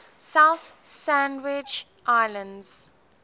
south sandwich islands